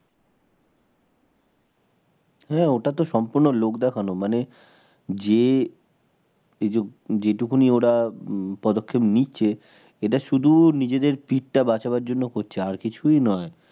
হ্যাঁ, ওটা তো সম্পূর্ণ লোক দেখানো মানে যে যেটুকুনি ওরা উম পদক্ষেপ নিচ্ছে এটা শুধু নিজেদের পিঠটা বাঁচানোর জন্য করছে আর কিছুই নয়